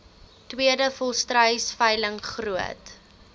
tweede volstruisveiling groot